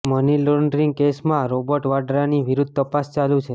money laundering કેસમાં Robert વાડ્રાની વિરુદ્ધ તપાસ ચાલુ છે